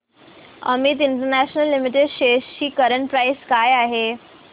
Amit international limited shares ची current price काय आहे